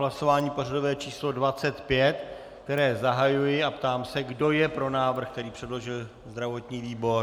Hlasování pořadové číslo 25, které zahajuji, a ptám se, kdo je pro návrh, který předložil zdravotní výbor.